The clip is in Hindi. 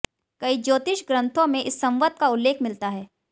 कई ज्योतिष ग्रन्थों में इस संवत् का उल्लेख मिलता है